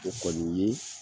O kɔni ye